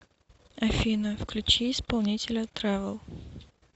афина включи исполнителя трэвл